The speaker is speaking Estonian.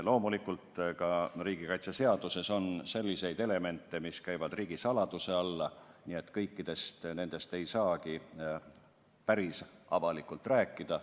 Loomulikult on riigikaitseseaduses selliseid elemente, mis käivad riigisaladuse alla, nii et kõigest ei saa päris avalikult rääkida.